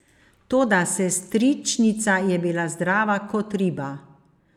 Toda sestričnica je bila zdrava kot riba.